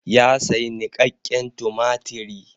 Ya sayi niƙakƙen tumatiri.